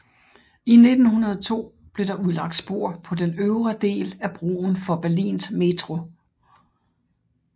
I 1902 blev der udlagt spor på den øvre del af broen for Berlins metro